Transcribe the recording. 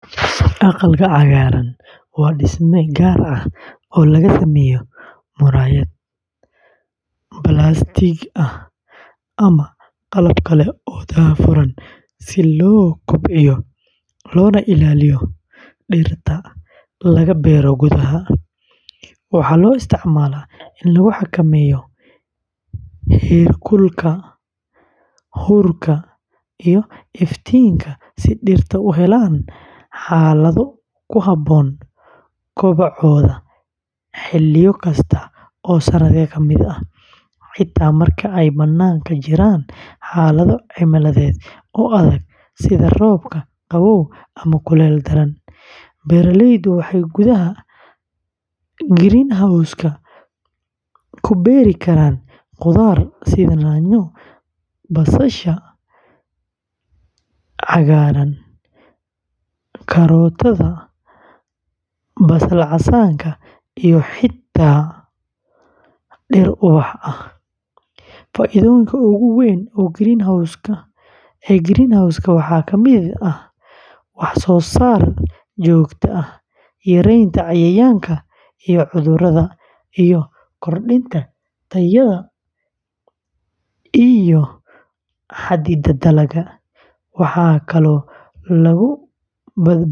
Aqalka cagaaran, waa dhisme gaar ah oo laga sameeyo muraayad, balaastiig ama qalab kale oo daahfuran si loo kobciyo loona ilaaliyo dhirta laga beero gudaha. Waxaa loo isticmaalaa in lagu xakameeyo heerkulka, huurka, iyo iftiinka si dhirta u helaan xaalado ku habboon kobocooda xilliyo kasta oo sanadka ka mid ah, xitaa marka ay bannaanka jiraan xaalado cimiladeed oo adag sida roobab, qabow ama kuleyl daran. Beeraleydu waxay gudaha greenhouse-ka ku beeri karaan khudaar sida yaanyo, basasha cagaaran, kaarootada, basal casaanka, iyo xitaa dhir ubax ah. Faa’iidooyinka ugu weyn ee greenhouse-ka waxaa ka mid ah wax-soo-saar joogto ah, yareynta cayayaanka iyo cudurrada, iyo kordhinta tayada iyo xaddiga dalagga. Waxaa kaloo lagu badbaadin karaa.